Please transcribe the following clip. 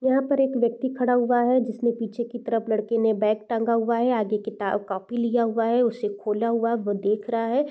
यहाँ पर एक व्यक्ति खड़ा हुआ है जिसमें पीछे की तरफ लड़के ने बैग टंगा हुआ है आगे किताब-कॉपी लिया हुआ है उसे खोला हुआ वो देख रहा है।